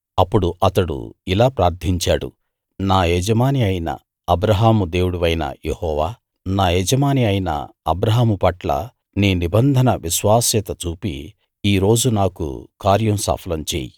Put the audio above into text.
అప్పుడు అతడు ఇలా ప్రార్థించాడు నా యజమాని అయిన అబ్రాహాము దేవుడివైన యెహోవా నా యజమాని అయిన అబ్రాహాముపట్ల నీ నిబంధన విశ్వాస్యత చూపి ఈ రోజు నాకు కార్యం సఫలం చెయ్యి